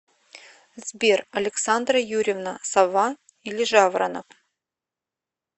сбер александра юрьевна сова или жаворонок